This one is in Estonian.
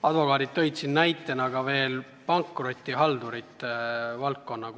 Advokaadid tõid näiteks pankrotihaldurite valdkonna.